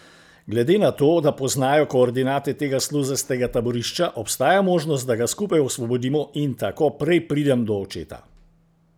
Glede na to, da poznajo koordinate tega sluzastega taborišča, obstaja možnost, da ga skupaj osvobodimo in da tako prej pridem do očeta.